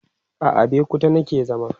a Abeokuta nake zama